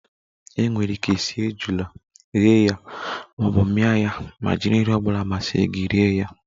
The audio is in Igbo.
E nwere ike sie ejula, ghe ya maọbụ mia ya ma jiri nri ọbula masiri gi rie ya